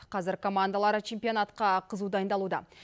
қазір командалар чемпионатқа қызу дайындалуда